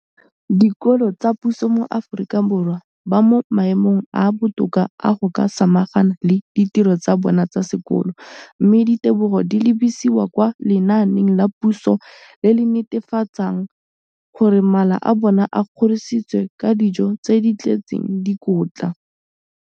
Dikolo tsa puso mo Aforika Borwa ba mo maemong a a botoka a go ka samagana le ditiro tsa bona tsa sekolo, mme ditebogo di lebisiwa kwa lenaaneng la puso le le netefatsang gore mala a bona a kgorisitswe ka dijo tse di tletseng dikotla.